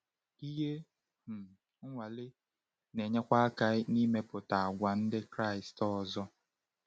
Ihe um nwale na-enyekwa aka n’ịmepụta àgwà ndị Kraịst ọzọ.